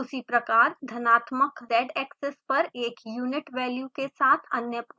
उसी प्रकार धनात्मक zएक्सिस पर एक यूनिट वैल्यू के साथ अन्य पॉइंट्स प्रविष्ट करें